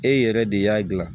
E yɛrɛ de y'a gilan